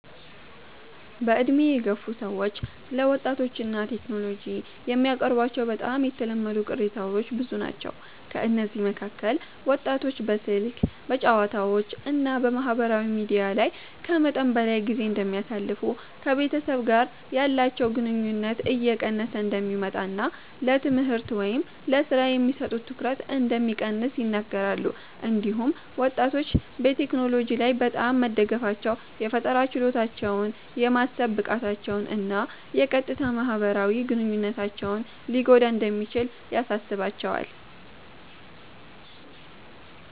በዕድሜ የገፉ ሰዎች ስለ ወጣቶች እና ቴክኖሎጂ የሚያቀርቧቸው በጣም የተለመዱ ቅሬታዎች ብዙ ናቸው። ከእነዚህ መካከል ወጣቶች በስልክ፣ በጨዋታዎች እና በማህበራዊ ሚዲያ ላይ ከመጠን በላይ ጊዜ እንደሚያሳልፉ፣ ከቤተሰብ ጋር ያላቸው ግንኙነት እየቀነሰ እንደሚመጣ እና ለትምህርት ወይም ለሥራ የሚሰጡት ትኩረት እንደሚቀንስ ይናገራሉ። እንዲሁም ወጣቶች በቴክኖሎጂ ላይ በጣም መደገፋቸው የፈጠራ ችሎታቸውን፣ የማሰብ ብቃታቸውን እና የቀጥታ ማህበራዊ ግንኙነታቸውን ሊጎዳ እንደሚችል ያሳስባቸዋል።